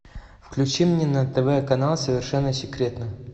включи мне на тв канал совершенно секретно